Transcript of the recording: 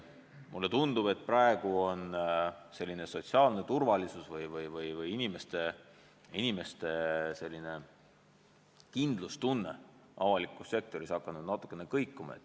Mulle tundub, et praegu on sotsiaalne turvalisus ehk inimeste kindlustunne avalikus sektoris hakanud natukene kõikuma.